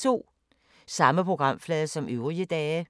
Samme programflade som øvrige dage